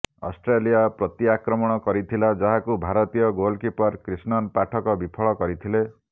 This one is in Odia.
ଅଷ୍ଟ୍ରେଲିଆ ପ୍ରତିଆକ୍ରମଣ କରିଥିଲା ଯାହାକୁ ଭାରତୀୟ ଗୋଲକିପର କ୍ରିଷ୍ଣନ୍ ପାଠକ ବିଫଳ କରିଥିଲେ